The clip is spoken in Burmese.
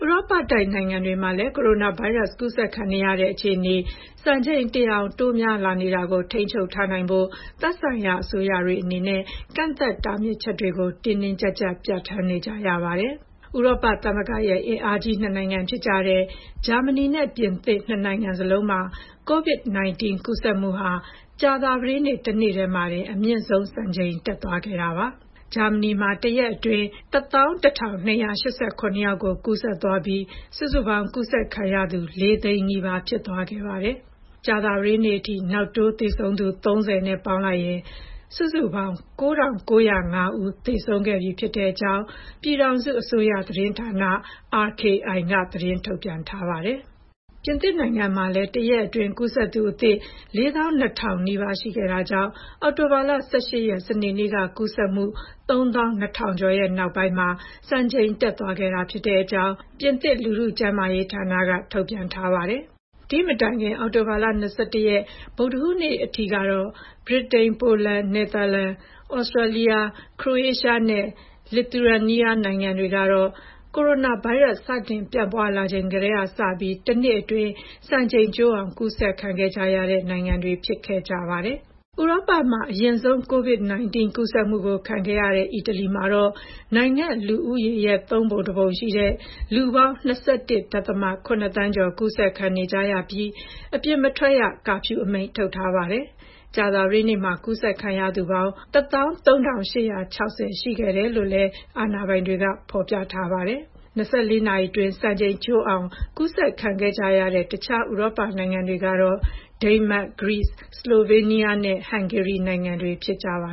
ရောပတိုက် နိုင်ငံတွေမှာလည်း ကိုရိုနာဗိုင်းရပ်စ် ကူးစက်ခံနေရတဲ့ အခြေအနေ စံချိန်တင် အောင် တိုးများလာနေတာကို ထိန်းချုပ်ထားနိုင်ဖို့ သက်ဆိုင်ရာ အစိုးရတွေအနေနဲ့ ကန့်သတ် တားမြစ်ချက်တွေကို တင်းတင်းကြပ်ကြပ် ပြဌာန်းနေကြရပါတယ်။ ဥရောပသမဂ္ဂရဲ့အင်အားကြီး နှစ်နိုင်ငံဖြစ်ကြတဲ့ ဂျာမနီနဲ့ ပြင်သစ် နှစ်နိုင်ငံစလုံးမှာ ကိုဗစ်-၁၉ ကူးစက်မှုဟာ ကြာသပတေးနေ့ တနေ့တည်းမှာတင် အမြင့်ဆုံးစံချိန်တက်သွားခဲ့တာပါ။ ဂျာမနီမှာ တရက်အတွင်း ၁၁,၂၈၇ ယောက်ကို ကူးစက်သွားပြီး စုစုပေါင်း ကူးစက်ခံရသူ ၄၀၀,၀၀၀ နီးပါး ဖြစ်သွားခဲ့ပါတယ်။ ကြာသပတေးနေ့အထိ နောက်တိုးသေဆုံးသူ ၃၀ ပေါင်းရင် စုစုပေါင်း ၉,၉၀၅ ဦး သေဆုံးခဲ့ကြောင်း ပြည်ထောင်စုအစိုးရသတင်းဌာန (RKI) က သတင်းထုတ်ပြန်ထားပါတယ်။ ပြင်သစ်နိုင်ငံမှာလည်း တရက်အတွင်း ကူးစက်သူအသစ် ၄၂,၀၀၀ နီးပါးရှိခဲ့တာကြောင့် အောက်တိုဘာလ ၁၈ ရက်၊ စနေနေ့က ကူးစက်မှု ၃၂,၀၀၀ ကျော်နောက်ပိုင်း စံချိန်တက်သွားခဲ့တာဖြစ်ကြောင်း ပြင်သစ် လူထုကျန်းမာရေးဌာနက ထုတ်ပြန်ထားပါတယ်။ ဒီမတိုင်ခင် အောက်တိုဘာလ ၂၁ ရက်၊ ဗုဒ္ဓဟူးနေ့ကအထိတော့ ဗြိတိန်၊ ပိုလန်၊ နယ်သာလန်၊ သြစတြီးယား၊ ခရိုရေးရှားနဲ့ လီသူယန်နီးယား နိုင်ငံတွေကတော့ ကိုရိုနာဗိုင်းရပ်စ် စတင်ပြန့်ပွါးလာနေချိန်ကစပြီး တနေ့တည်းအတွင်း စံချိန်ကျိုးအောင် ကူးစက်ခံခဲ့ကြရတာပါ။ ဥရောပမှာ အရင်ဆုံး ကိုဗစ်-၁၉ ကူးစက်မှုခံခဲ့ရတဲ့ အီတလီမှာတော့ နိုင်ငံ့လူဦးရေရဲ့ ၃ ပုံတပုံ ရှိတဲ့ လူပေါင်း ၂၁.၇ သန်းကျော် ကူးစက်ခံနေကြရပြီး အပြင်မထွက်ရ ကာဖျူးအမိန့် ထုတ်ထားရပါတယ်။ ကြာသပတေးနေ့မှာ ကူးစက်ခံရသူပေါင်း ၁၃၈၆၀ ရှိခဲ့တယ်လို့အာဏာပိုင်တွေက ပြောပါတယ်။ ၂၄ နာရီအတွင်း စံချိန်ချိုးအောင် ကူးစက်ခံခဲ့ကြရတဲ့ တခြား ဥရောပနိုင်ငံတွေကတော့ ဒိန်းမတ်၊ ဂရိစ်၊ ဆလိုဗေးနီးယားနဲ့ ဟန်ဂေရီနိုင်ငံတွေ ဖြစ်ကြပါ